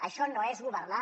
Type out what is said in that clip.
això no és governar